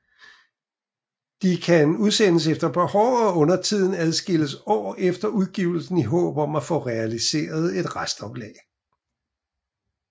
De kan udsendes efter behov og undertiden adskillige år efter udgivelsen i håb om at få realiseret et restoplag